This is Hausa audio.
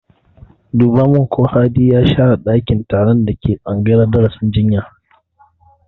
Duba min ko Hadi ya share ɗakin taron da ke tsangayar darasin jinya!